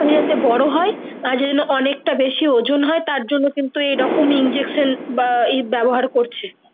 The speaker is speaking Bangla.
তারই যাতে বোরো হয় তার জন্য অনেকটা বেশি ওজন হয় তার জন্য কিন্তু এরোকম injection বা এ ব্যবহার করছে